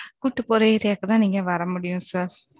கூட்டிட்டு போற area க்குதான், நீங்க வர முடியும் sir